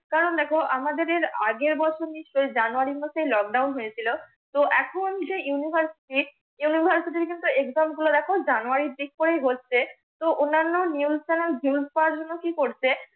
কারণ দেখ আমাদেরের আগের বছর নিশচই জানুয়ারির মাসের lockdown হয়েছিল। তো এখন যে UNIVERSITY UNIVERSITY র কিন্তু EXAME গুলো দেখ জানুয়ারীর দিক করেই হচ্ছে। তো অন্নান্য নিউজ CHANNEL গুলো VIEWS পাওয়ার জন্য কি করছে?